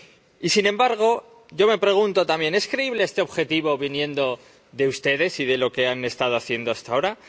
Y, sin embargo, yo me pregunto también ¿es creíble este objetivo viniendo de ustedes y de lo que han estado haciendo hasta ahora?